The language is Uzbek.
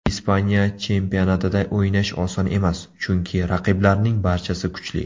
Ispaniya chempionatida o‘ynash oson emas, chunki raqiblarning barchasi kuchli.